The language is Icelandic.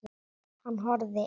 Hann horfir yfir